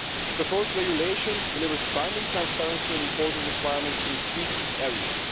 The proposed regulation delivers binding transparency and reporting requirements in three key areas.